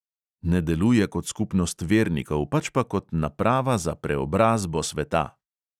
Ne deluje kot skupnost vernikov, pač pa kot naprava za preobrazbo sveta.